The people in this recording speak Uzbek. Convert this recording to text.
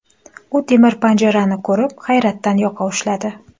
U temir panjani ko‘rib, hayratdan yoqa ushladi”.